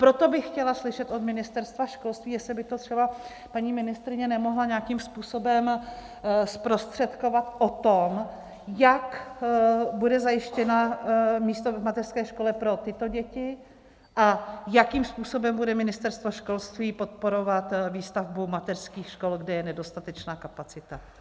Proto bych chtěla slyšet od Ministerstva školství - jestli by to třeba paní ministryně nemohla nějakým způsobem zprostředkovat - o tom, jak bude zajištěno místo v mateřské škole pro tyto děti a jakým způsobem bude Ministerstvo školství podporovat výstavbu mateřských škol, kde je nedostatečná kapacita.